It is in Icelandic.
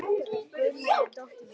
Guðný er dóttir mín.